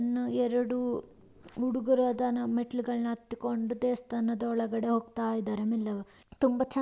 ಎರಡು ಹುಡುಗ್ರು ಅದನ್ನ ಮೆಟ್ಲುಗಳ್ನ ಅತ್ ಕಂಡ್ ದೇವಸ್ಥಾನದ್ ಒಳ್ಗಡೆ ಹೋಗ್ತಾ ಇದಾರೆ ಮೇಲೆ ತುಂಬ ಚೆನ್ನಾಗಿ --